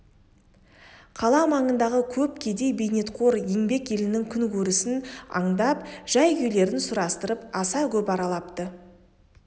қала маңындағы көп кедей бейнетқор еңбек елінің күнкөрісін андап жай-күйлерін сұрастырып аса көп аралапты